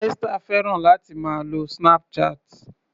Esther fẹ́ràn láti máa lo Snapchat.